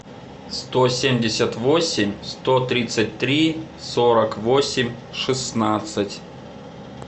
сто семьдесят восемь сто тридцать три сорок восемь шестнадцать